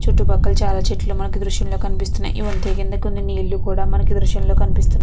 చుట్టూ పక్కల చాలా చెట్టులు మనకి ఈ దృశ్యం లో కనిపిస్తుంది. వంతెన కింద నీళ్లు కూడా మనకి ఈ ఈ దృశ్యం లో కనిపిస్తుంది.